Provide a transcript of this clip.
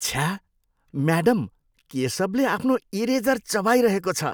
छ्या! म्याडम, केशवले आफ्नो इरेजर चबाइरहेको छ।